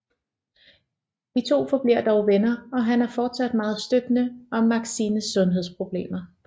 De 2 forbliver dog venner og han er fortsat meget støttende om Maxines sundhedsproblemer